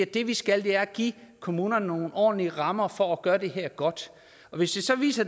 det vi skal er at give kommunerne nogle ordentlige rammer for at gøre det her godt og hvis det så viser